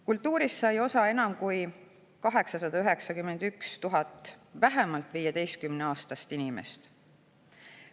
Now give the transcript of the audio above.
Kultuurist sai osa enam kui 891 000 vähemalt 15‑aastast inimest.